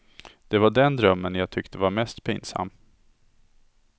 Det var den drömmen jag tyckte var mest pinsam.